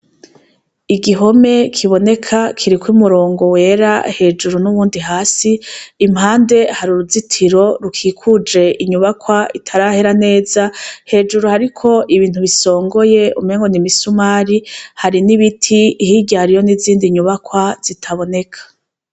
Igihome kiboneka kiriko umurongo wera hejuru n'uwundi hasi, impande hari uruzitiro rukikuje inyubakwa itarahera heza, hejuru hariko ibintu bisongoye umenga n'imisumari, har'ibiti, hirya hariyo n'izindi nyubakwa zitaboneka.